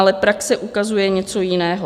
Ale praxe ukazuje něco jiného.